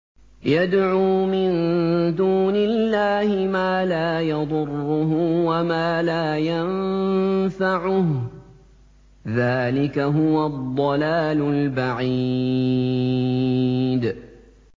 يَدْعُو مِن دُونِ اللَّهِ مَا لَا يَضُرُّهُ وَمَا لَا يَنفَعُهُ ۚ ذَٰلِكَ هُوَ الضَّلَالُ الْبَعِيدُ